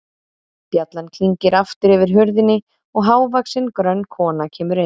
Bjallan klingir aftur yfir hurðinni og hávaxin, grönn kona kemur inn.